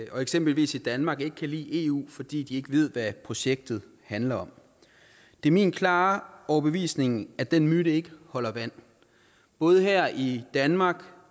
og eksempelvis i danmark ikke kan lide eu fordi de ikke ved hvad projektet handler om det er min klare overbevisning at den myte ikke holder vand både her i danmark